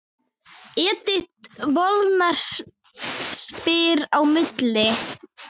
Edith Molnar spilar á milli.